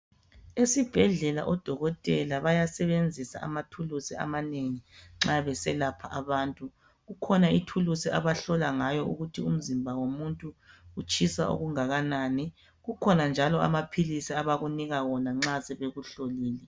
Esibhedlela odokotela bayasebenzisa amathuluzi amanengi ,nxa beselapha abantu. Kukhona ithuluzi abahlola ngawo ukuthi umzimba womuntu, utshisa okungakanani. Akhona njalo amaphilisi, abakunika wona, nxa sebekuhlolile.